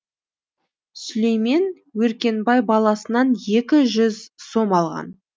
сүлеймен өркенбай баласынан екі жүз сом алған